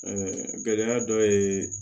gɛlɛya dɔ ye